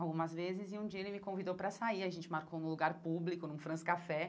Algumas vezes, e um dia ele me convidou pra sair, a gente marcou num lugar público, num France Café.